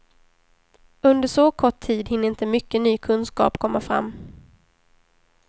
Under så kort tid hinner inte mycket ny kunskap komma fram.